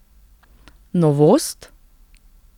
Novost?